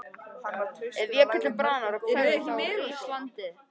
Ef jökullinn bráðnar og hverfur þá rís landið.